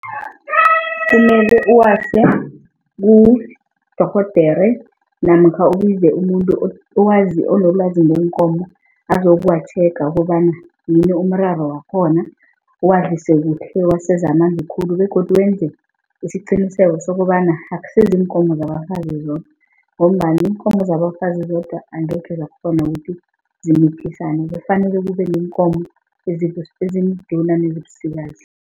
Kumele uwase kudorhodere namkha ubize umuntu onelwazi ngeenkomo azokwa-checker kobana yini umraro wakhona. Uwadlise kuhle, uwaseza amanzi khulu begodu wenze isiqiniseko sokobana akusiziinkomo zabafazi zodwa ngombana iinkomo zabafazi zodwa angekhe zakghona ukuthi zimithisana kufanele kube neenkomo ezimduna nezibusikazi.